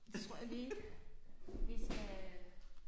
Tror jeg lige vi skal